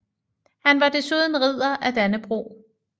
Han var desuden Ridder af Dannebrog